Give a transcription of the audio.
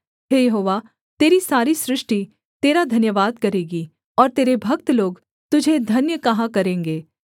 हे यहोवा तेरी सारी सृष्टि तेरा धन्यवाद करेगी और तेरे भक्त लोग तुझे धन्य कहा करेंगे